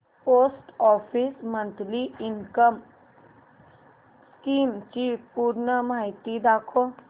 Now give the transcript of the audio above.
post office monthly income scheme ची पूर्ण माहिती दाखव